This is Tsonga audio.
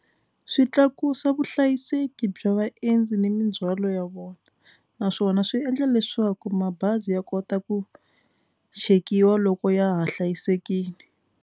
Swi tlakusa vuhlayiseki bya vaendzi ni mindzhwalo ya vona naswona swi endla leswaku mabazi ya kota ku chekiwa loko ya ha hlayisekile.